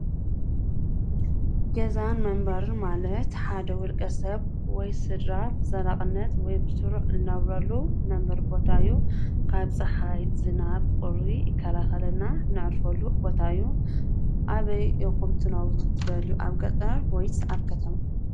ገዛን መንበሪን ማለት ሓደ ዉልቀ ሰብ ወይ ስድራ ብዘላቅነት ወይ በስሩዕ ንነብረሉ ናይ መንበሪ ቦታ እዪ ካብ ፀሓይ ዝናብቁሪ ይከላከል ነዕርፈሉ ቦታ እዪ ። አበይ ትነብሩ ትደልዪ ገጠር ወይ ከተማ?